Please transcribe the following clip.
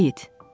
Ayid.